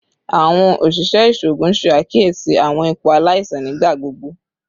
Awọn oṣiṣẹ iṣoogun ṣe akiyesi awọn ipo alaisan nigbagbogbo